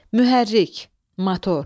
Mühərrik – motor.